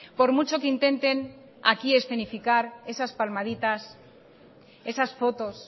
por mucho que intenten aquí escenificar esas palmaditas esas fotos